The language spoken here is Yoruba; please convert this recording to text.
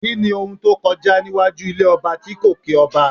Kíni ohun tó kọjá níwájú ilé ọba tí kò kí ọba?